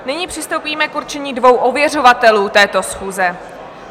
Nyní přistoupíme k určení dvou ověřovatelů této schůze.